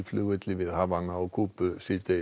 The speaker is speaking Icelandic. flugvelli við Havana á Kúbu